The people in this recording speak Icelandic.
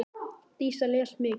Dísa les mikið.